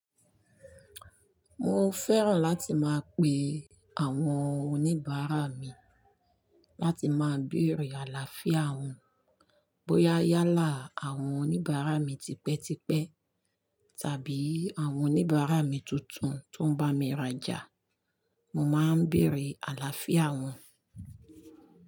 Mo fẹ́ràn láti máa pe àwọn oníbàárà mi láti máa bèèrè àlàáfíà wọn. Bóyá yálà àwọn oníbàárà mi tipẹ́tipẹ́ tàbí àwọn oníbàárà mi tuntun tó ń bá mi rajà, mo máa ń bèérè àlàáfíà wọn.